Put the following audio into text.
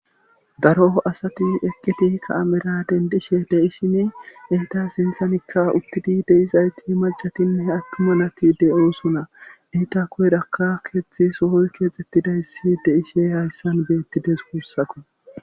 Daro asati eqqiti ka7amera dendishe deishini eyta sinthanikka uttidi deizayti macatinne attuma nati de7oosuna iita koydakka keetzdtzi sohoy keexxettidayssi deishe hayssan beettides wuussako.